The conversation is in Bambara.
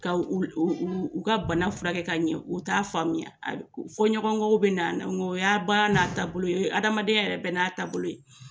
Ka u u u ka bana furakɛ ka ɲɛ, u t'a faamuya, fɔ ɲɔgɔnkɔw bina a na nka o y'a baara n'a taabolo, o ye adamadenya yɛrɛ bɛɛ n'a taabolo ye.